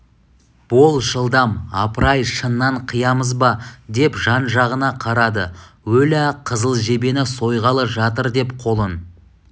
бол жылдам апыр-ай шыннан қиямыз ба деп жан-жағына қарады өлә қызыл жебені сойғалы жатыр деп қолын